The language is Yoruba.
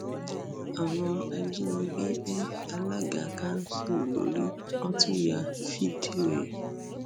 àwọn ajínigbé bẹ alága kanṣu lórí wọn tún ya fídíò ẹ